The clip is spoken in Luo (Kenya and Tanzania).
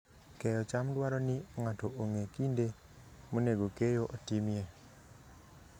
Keyo cham dwaro ni ng'ato ong'e kinde monego keyo otimie.